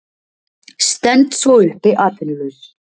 Stend svo uppi atvinnulaus.